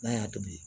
N'a y'a tobi